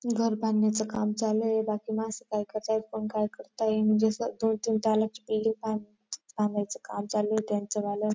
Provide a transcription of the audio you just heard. घर बांधण्याचं काम चालू आहे बाकी माणसं काय करताय कोण काय करताय म्हणजे असं दोन-तीन तालाच बिल्डिंग बांध बांधायचं काम चालूये त्यांचवाल.